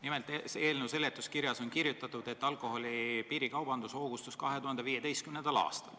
Nimelt, eelnõu seletuskirjas on kirjutatud, et alkoholi piirikaubandus hoogustus 2015. aastal.